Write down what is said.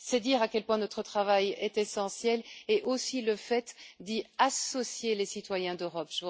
C'est dire à quel point notre travail est essentiel, et aussi le fait d'y associer les citoyens d'Europe.